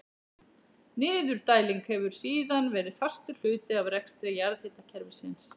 Niðurdæling hefur síðan verið fastur hluti af rekstri jarðhitakerfisins.